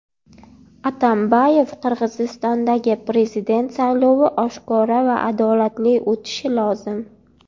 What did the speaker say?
Atambayev: Qirg‘izistondagi prezident saylovi oshkora va adolatli o‘tishi lozim.